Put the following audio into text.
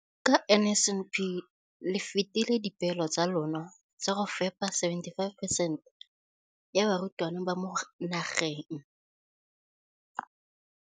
Ka NSNP le fetile dipeelo tsa lona tsa go fepa masome a supa le botlhano a diperesente ya barutwana ba mo nageng.